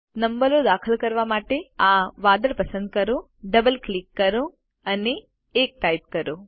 નંબરો દાખલ કરવા માટે આ વાદળ પસંદ કરો ડબલ ક્લિક કરો અને 1 ટાઇપ કરો